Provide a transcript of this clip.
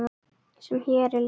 sem hér er lýst?